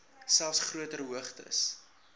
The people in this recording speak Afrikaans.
selfs groter hoogtes